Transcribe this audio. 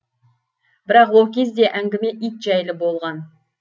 бірақ ол кезде әңгіме ит жайлы болған